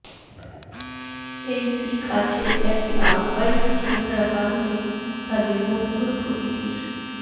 এই পীক আছে একটি আলপাইন চেহারা কারণে তাদের বন্ধুর প্রকৃতির